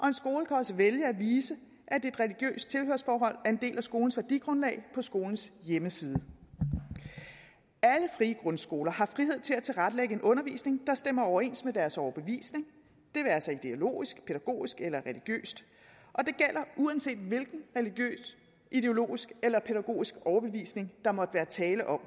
en skole kan også vælge at vise at et religiøst tilhørsforhold en del af skolens værdigrundlag på skolens hjemmeside alle frie grundskoler har frihed til at tilrettelægge en undervisning der stemmer overens med deres overbevisning det være sig dialogisk pædagogisk eller religiøst og det gælder uanset hvilken religiøs ideologisk eller pædagogisk overbevisning der måtte være tale om